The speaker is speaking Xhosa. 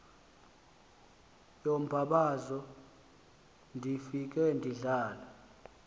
yombabazo ndifile yindlala